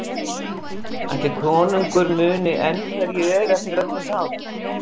Ætli konungur muni enn hver ég er eftir öll þessi ár?